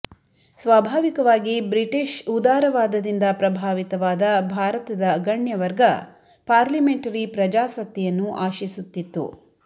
ಸ್ವಾಭಾವಿಕವಾಗಿ ಬ್ರಿಟಿಷ್ ಉದಾರವಾದದಿಂದ ಪ್ರಭಾವಿತವಾದ ಭಾರತದ ಗಣ್ಯವರ್ಗ ಪಾರ್ಲಿಮೆಂಟರಿ ಪ್ರಜಾಸತ್ತೆಯನ್ನು ಆಶಿಸುತ್ತಿತ್ತು